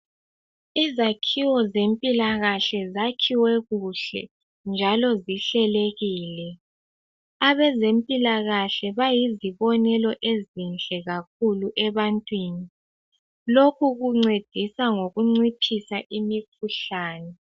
Izakhiwo zempilakahle zakhiwe kuhle njalo zihlelekile. Abezempilakahle bayizibonelo ezinhle bayizibonelo ezinhle kakhulu ebantwini, lokhu kuncedisa ngokunciphisa imikhuhlani.